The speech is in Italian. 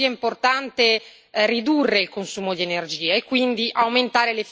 ridurre il consumo di energia e quindi aumentare l'efficienza energetica.